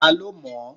Ta ló mọ̀ ọ́?